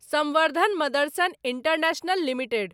संवर्धन Motherson International limited